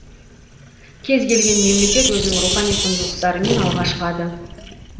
кез келген мемлекет өзінің рухани құндылықтарымен алға шығады